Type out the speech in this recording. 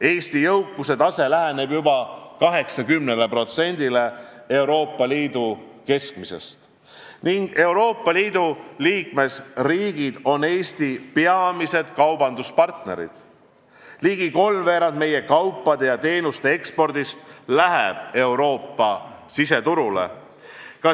Eesti jõukuse tase läheneb juba 80%-le Euroopa Liidu keskmisest ning Euroopa Liidu liikmesriigid on Eesti peamised kaubanduspartnerid – ligi kolmveerand meie kaupade ja teenuste ekspordist läheb Euroopa siseturule.